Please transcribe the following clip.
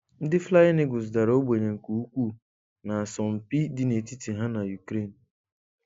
Ndị Flying Eagles dara ogbenye nke ukwuu na asọmpi dị n'etiti ha na Ukraine